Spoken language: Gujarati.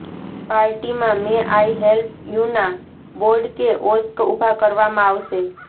પાર્ટીમાં મેં આઈ હેલ્પ યુના બોર્ડ કે ઓસ્ક ઉભા કરવામાં આવશે